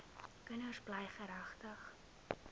kinders bly geregtig